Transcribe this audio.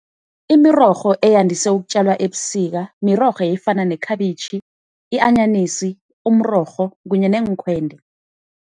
Imirorho eyandise ukutjalwa ebusika mirorho efana nekhabitjhi, i-anyanisi, umrorho kunye neenkhwende.